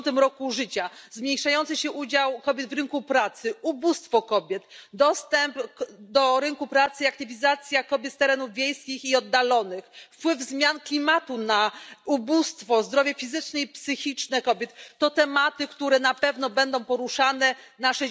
50. roku życia, zmniejszający się udział kobiet w rynku pracy, ubóstwo kobiet, dostęp do rynku pracy i aktywizacja kobiet z terenów wiejskich i oddalonych, wpływ zmian klimatu na ubóstwo, zdrowie fizyczne i psychiczne kobiet to tematy, które na pewno będą poruszane na